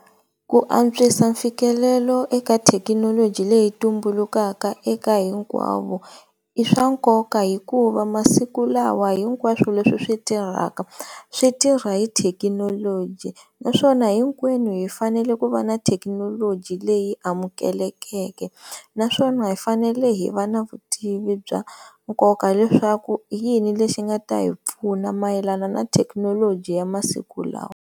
Ku antswisa mfikelelo eka thekinoloji leyi tumbulukaka eka hinkwavo, i swa nkoka hikuva masiku lawa hinkwaswo leswi swi tirhaka swi tirha hi thekinoloji naswona hinkwenu hi fanele ku va na thekinoloji leyi amukelekeke naswona hi fanele hi va na vutivi bya nkoka leswaku i yini lexi nga ta hi pfuna mayelana na thekinoloji ya masiku lawa.